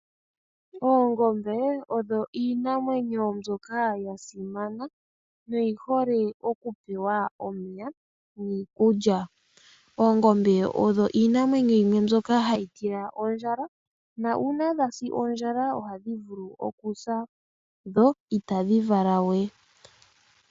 Oongombe odho iinamwenyo mbyoka yasimana noyi hole okupewa omeya niikulya. Oongombe odho iinamwenyo yimwe mbyoka hayi tila ondjala nuuna dhasi ondjala ohadhi vulu okusa na itadhi vala we.